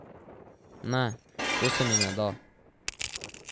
Ne, to se mi ne da.